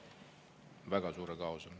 Väga suure kaose.